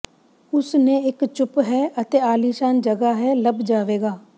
ਉਸ ਨੇ ਇੱਕ ਚੁੱਪ ਹੈ ਅਤੇ ਆਲੀਸ਼ਾਨ ਜਗ੍ਹਾ ਹੈ ਲੱਭ ਜਾਵੇਗਾ